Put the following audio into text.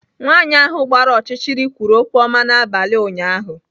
Nwanyị ahụ gbara ọchịchịrị kwuru okwu ọma n'abalị ụnyaahụ.